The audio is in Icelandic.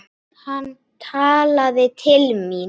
Hann talaði til mín.